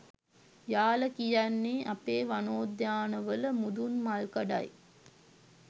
යාල කියන්නේ අපේ වනෝද්‍යාන වල මුදුන්මල්කඩයි.